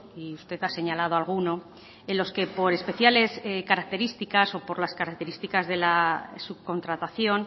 y usted ha señalado alguno en los que por especiales características o por las características de la subcontratación